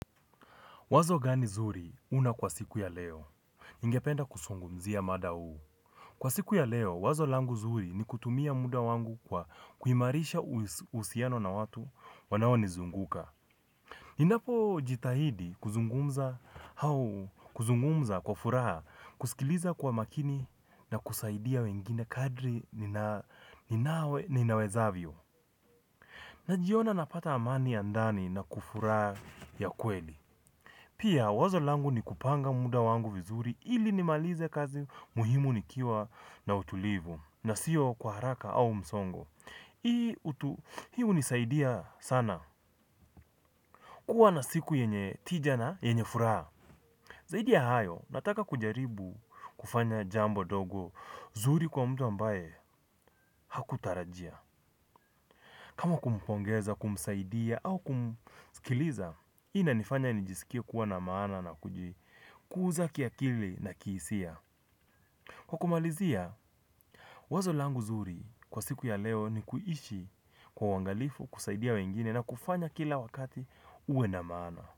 Wazo gani zuri una kwa siku ya leo ningependa kusungumzia mada huu. Kwa siku ya leo, wazo langu zuri ni kutumia muda wangu kwa kuhimarisha usiano na watu wanawo nizunguka. Ni napo jitahidi kuzungumza hau kuzungumza kwa furaha kusikiliza kwa makini na kusaidia wengine kadri ninawezavyo. Najiona napata amani ya ndani na kufuraha ya kweli. Pia wazo langu ni kupanga muda wangu vizuri ili ni malize kazi muhimu nikiwa na utulivu na siyo kwa haraka au msongo. Hi unisaidia sana kuwa na siku yenye tijana yenye furaha. Zaidi ya hayo nataka kujaribu kufanya jambo dogo zuri kwa mtu ambaye hakutarajia. Kama kumpongeza, kumsaidia au kumskiliza, ina nifanya nijisikia kuwa na maana na kuja kuuza kiakili na kiisia. Kwa kumalizia, wazo langu zuri kwa siku ya leo ni kuishi kwa wangalifu, kusaidia wengine na kufanya kila wakati uwe na maana.